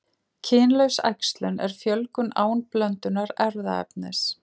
Kynlaus æxlun er fjölgun án blöndunar erfðaefnis.